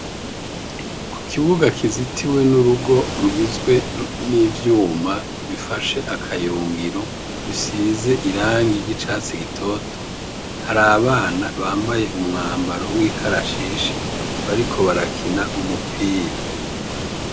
Ku kibuga kizitwe n'urugo rugizwe n'ivyuma bifashe akayungiro bisize irangi ry'icatsi gitoto, hari abana bambaye umwambaro w'ikarashishi bariko barakina umupira.